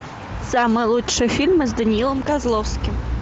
самый лучший фильм с даниилом козловским